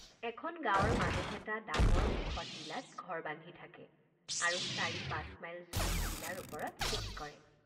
এখন গাৱঁৰ মানুহ এটা ডাঙৰ ওখ টিলাত ঘৰ বান্ধি থাকে আৰু চাৰি পাঁচ মাইল জুৰি টিলাৰ ওপৰত খেতি কৰে।